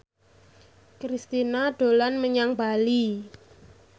Kristina dolan menyang Bali